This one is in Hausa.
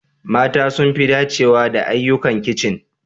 Mata sun fi dacewa da ayyukan kicin.